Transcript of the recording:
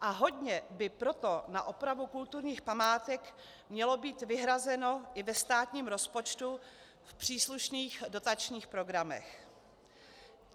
A hodně by proto na opravu kulturních památek mělo být vyhrazeno i ve státním rozpočtu v příslušných dotačních programech.